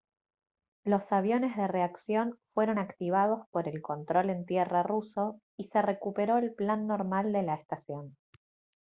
los aviones de reacción fueron activados por el control en tierra ruso y se recuperó el plan normal de la estación